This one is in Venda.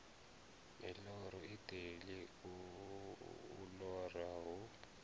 miloro iṱeli u lora hu